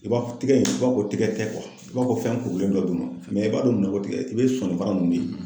I b'a fɔ tɛgɛ in, i b'a fɔ ko tigɛ tɛ i b'a fɔ fɛn kurulen dɔ de ma mɛ i b'a don mun na ko tigɛ, i bɛ sɔnni fara ninnu ye .